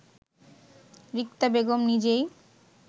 রিক্তা বেগম নিজেই